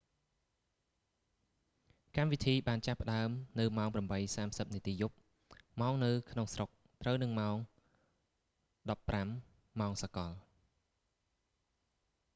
កម្មវិធីបានចាប់ផ្តើមនៅម៉ោង 8:30 នាទីយប់ ម៉ោងនៅក្នុងស្រុក ត្រូវនឹងម៉ោង 15.00 ម៉ោងសកល